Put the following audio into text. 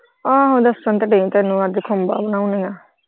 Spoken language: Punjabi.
ਆਹੋ ਦੱਸਣ ਤੇ ਦਈ ਅੱਜ ਖੁੰਬਾਂ ਬਣਾਉਣੀਆਂ।